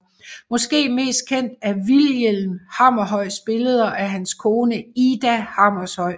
Måske mest kendt af Vilhelm Hammershøis billeder af hans kone Ida Hammershøi